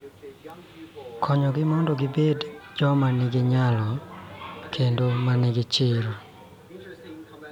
Konyogi mondo gibed joma nigi nyalo kendo ma nigi chir.